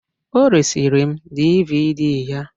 o resịrị m DVD ya